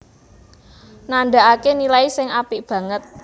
nandhakaké nilai sing apik banget